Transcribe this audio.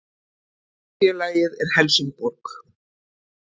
Hitt félagið er Helsingborg